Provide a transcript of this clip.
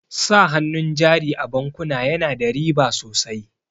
Sa hannun jari a bankuna yana da riba sosai.